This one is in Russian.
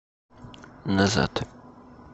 назад